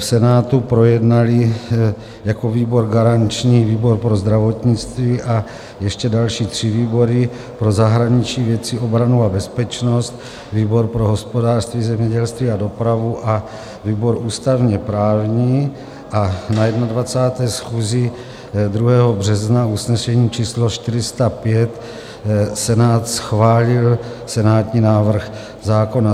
V Senátu projednaly jako výbor garanční výbor pro zdravotnictví a ještě další tři výbory: pro zahraniční věci, obranu a bezpečnost, výbor pro hospodářství, zemědělství a dopravu a výbor ústavně-právní a na 21. schůzi 2. března usnesením číslo 405 Senát schválil senátní návrh zákon.